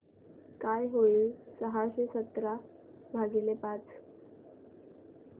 काय होईल सहाशे सतरा भागीले पाच